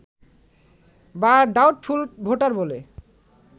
বা doubtful voter বলে